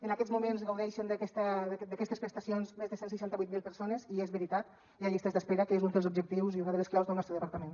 en aquests moments gaudeixen d’aquestes prestacions més de cent i seixanta vuit mil persones i és veritat hi ha llistes d’espera que és un dels objectius i una de les claus del nostre departament